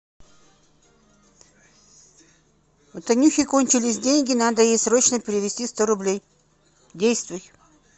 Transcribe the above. у танюхи кончились деньги надо ей срочно перевести сто рублей действуй